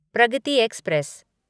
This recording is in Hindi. प्रगति एक्सप्रेस